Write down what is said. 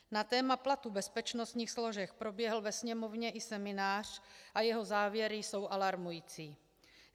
Na téma platů bezpečnostních složek proběhl ve Sněmovně i seminář a jeho závěry jsou alarmující.